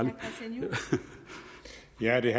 ærlig